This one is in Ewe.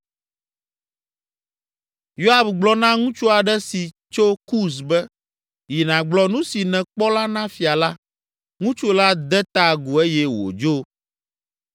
Yoab gblɔ na ŋutsu aɖe si tso Kus be, “Yi nàgblɔ nu si nèkpɔ la na fia la.” Ŋutsu la de ta agu eye wòdzo.